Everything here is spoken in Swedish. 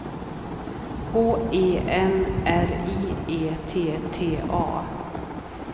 H E N R I E T T A